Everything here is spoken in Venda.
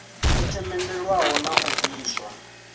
yo themendelwaho na u bviswa